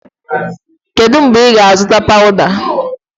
Kedu mgbe ị ga-azụta pawuda?